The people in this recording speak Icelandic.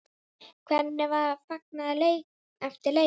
Hvernig var fagnað eftir leikinn?